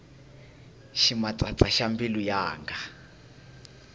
ximatsatsa xa mbilu yanga